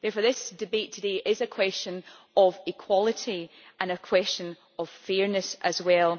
Therefore this debate today is a question of equality and a question of fairness as well.